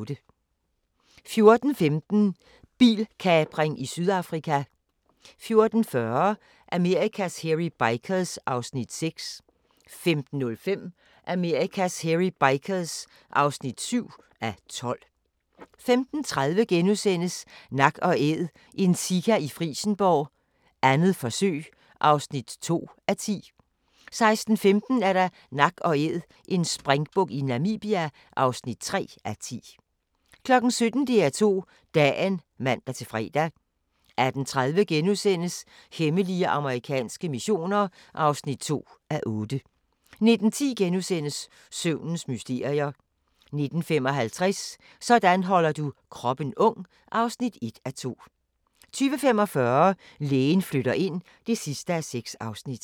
14:15: Bilkapring i Sydafrika 14:40: Amerikas Hairy Bikers (6:12) 15:05: Amerikas Hairy Bikers (7:12) 15:30: Nak & Æd – en sika i Frijsenborg, 2. forsøg (2:10)* 16:15: Nak & Æd – en springbuk i Namibia (3:10) 17:00: DR2 Dagen (man-fre) 18:30: Hemmelige amerikanske missioner (2:8)* 19:10: Søvnens mysterier * 19:55: Sådan holder du kroppen ung (1:2) 20:45: Lægen flytter ind (6:6)